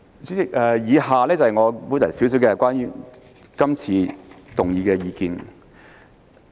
主席，以下是我對於擬議決議案的一點意見。